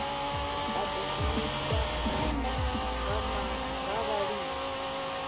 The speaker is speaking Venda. a ḓo shumiswa nga vhalimi